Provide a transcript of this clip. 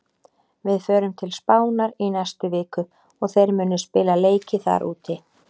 Við förum til Spánar í næstu viku og þeir munu spila leiki þar úti.